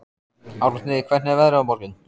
Árni, hvernig er veðrið á morgun?